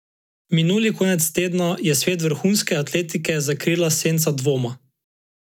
Minuli konec tedna je svet vrhunske atletike zakrila senca dvoma.